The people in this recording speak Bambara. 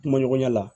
Kuma ɲɔgɔnya la